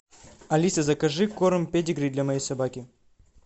алиса закажи корм педигри для моей собаки